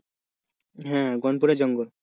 হম গনপুরের জঙ্গল,